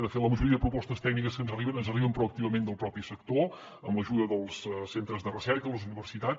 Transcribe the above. de fet la majoria de propostes tècniques que ens arriben ens arriben proactivament del propi sector amb l’ajuda dels centres de recerca i les universitats